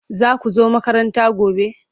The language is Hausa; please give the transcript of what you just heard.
Za ku zo makaranta gobe?